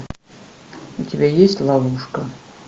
у тебя есть ловушка